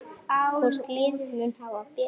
Hvort liðið mun hafa betur?